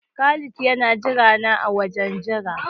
Khalid yana jirana a wajen jira.